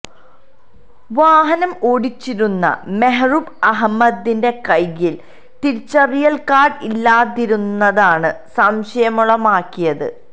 വാഹനം ഓടിച്ചിരുന്ന മെഹ്റൂബ് അഹമ്മദിന്റെ കൈയ്യില് തിരിച്ചറിയല് കാര്ഡ് ഇല്ലാതിരുന്നതാണ് സംശയമുളവാക്കിയത്